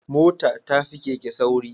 Mota tafi Keke sauri